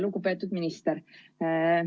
Lugupeetud minister!